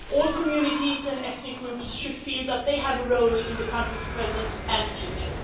All communities and ethnic groups should feel that they have a role in the country's present and future.